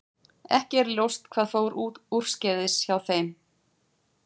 Ekki er ljóst hvað fór úrskeiðis hjá þeim.